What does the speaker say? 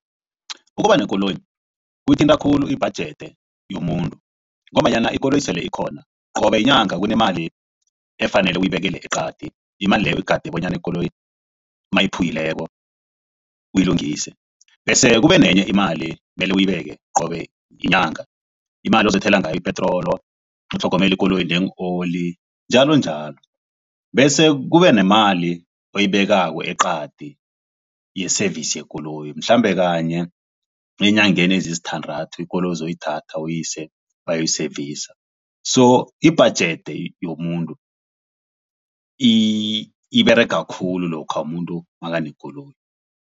Ukuba nekoloyi kuthinta khulu ibhajethi yomuntu ngombanyana ikoloyi sele ikhona qobe yinyanga kunemali efanele uyibekele eqadi imali leyo igade bonyana ikoloyi mayiphumileko uyilungise. Bese-ke kube nenye imali mele uyibeke qobe yinyanga imali ozothela ngayo ipetrolo utlhogomele ikoloyi nee-oil njalonjalo. Bese kube nemali oyibekako eqadi ye-service yekoloyi mhlambe kanye eenyangeni ezisithandathu ikoloyi uzoyithatha uyise bayoyi seyivisa, so ibhajethi yomuntu iberega khulu lokha umuntu nakanekoloyi.